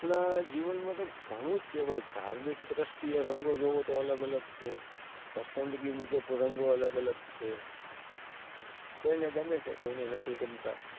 આહ જીવન માં તો ગણું જ છે, ધાર્મિક દ્રષ્ટિએ રંગો જૉવો તો અલગ અલગ છે. પસંદગી મુજબ રંગો અલગ અલગ છે, કોઈને ગમે છે કોઈને નથી ગમતા,